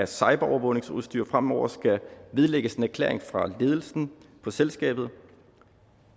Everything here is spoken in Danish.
cyberovervågningsudstyr fremover skal vedlægges en erklæring fra ledelsen for selskabet